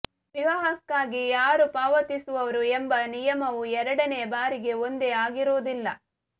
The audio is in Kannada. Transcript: ವಿವಾಹಕ್ಕಾಗಿ ಯಾರು ಪಾವತಿಸುವರು ಎಂಬ ನಿಯಮವು ಎರಡನೆಯ ಬಾರಿಗೆ ಒಂದೇ ಆಗಿರುವುದಿಲ್ಲ